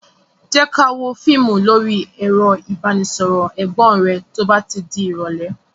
Jé ká wò fíìmù lórí ẹ̀rọ ìbánisọọ̀rọ̀ Ẹ̀gbọ́n rẹ to bá ti di irọ̀lẹ́